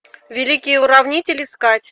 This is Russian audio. великий уравнитель искать